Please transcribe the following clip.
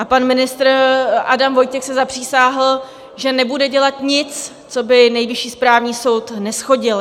A pan ministr Adam Vojtěch se zapřísáhl, že nebude dělat nic, co by Nejvyšší správní soud neshodil.